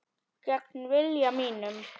Gegn vilja mínum.